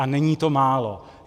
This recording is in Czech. A není to málo.